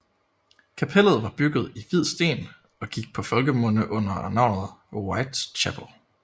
Kapellet var bygget i hvid sten og gik på folkemunde under navnet White Chapel